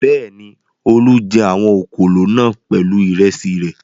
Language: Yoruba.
Bẹ́ẹ̀ni, Olú jẹ àwọn òkòló náà pẹ̀lú ìrẹsì rẹ̀.